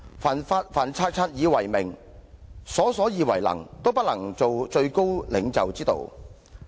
凡察察以為明，瑣瑣以為能，都不是做最高領袖之道"。